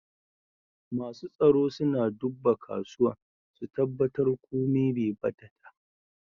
Masu tsaro suna dubba kasuwan, su tabatar komi Bai bata ta.